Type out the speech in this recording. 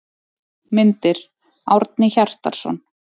Myndir: Árni Hjartarson.